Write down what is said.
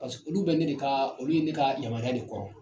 olu bɛ ne de ka olu ye ne ka yamaruya de kɔrɔ